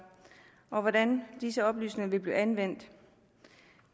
og hvordan disse oplysninger vil blive anvendt